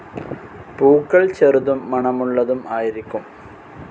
പൂക്കൾ ചെറുതും മണമുള്ളതും ആയിരിക്കും.